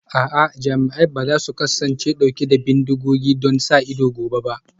A'a, jami'an ba za su kasance dauke da bindigogi don sa ido gobe ba